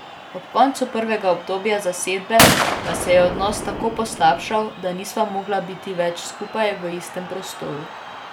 Ob koncu prvega obdobja zasedbe pa se je odnos tako poslabšal, da nisva mogla biti več skupaj v istem prostoru.